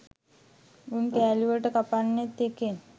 උන් කෑලිවලට කපන්නේ එකෙන්.